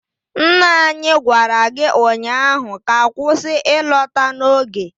Nna anyi gwara gi ụnyaahụ ka kwụsị ịlọta n'oge!